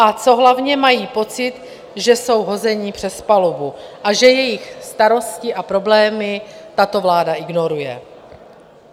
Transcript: A co hlavně, mají pocit, že jsou hozeni přes palubu a že jejich starosti a problémy tato vláda ignoruje.